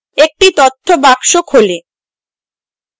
একটি তথ্য box খোলে